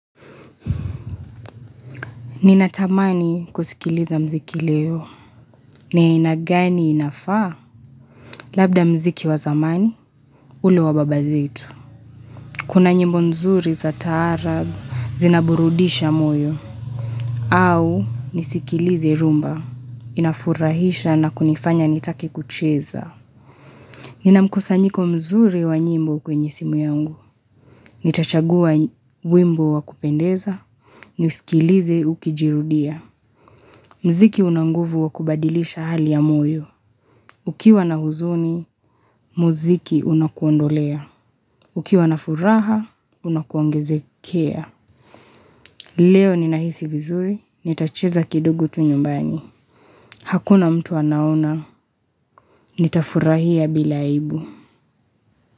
Ninatamani kusikiliza mziki leo. Ni aina gani inafaa labda mziki wa zamani ule wa baba zetu. Kuna nyimbo nzuri za taarab zinaburudisha moyo. Au nisikilize rhumba inafurahisha na kunifanya nitake kucheza. Ninamkusanyiko mzuri wa nyimbo kwenye simu yangu. Nitachagua wimbo wa kupendeza niusikilize ukijirudia. Mziki una nguvu wa kubadilisha hali ya moyo. Ukiwa na huzuni, mziki unakuondolea. Ukiwa na furaha, unakuongezekea. Leo ninahisi vizuri, nitacheza kidogo tu nyumbani. Hakuna mtu anaona, nitafurahia bila aibu.